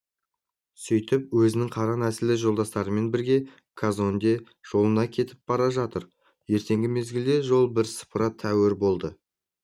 сөйтіп өзінің қара нәсілді жолдастарымен бірге казонде жолында кетіп бара жатыр ертеңгі мезгілде жол бірсыпыра тәуір болды